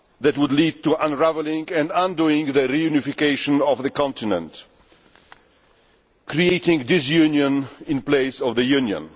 That would lead to unravelling and undoing the reunification of the continent, creating disunion in place of the Union.